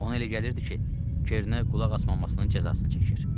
Ona elə gəlirdi ki, Çernə qulaq asmasının cəzasını çəkir.